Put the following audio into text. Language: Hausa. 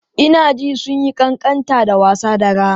Ina jin sun yi ƙanƙanta da wasa dara.